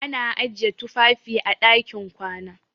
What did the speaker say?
Ana ajiye tufafi a ɗakin kwana.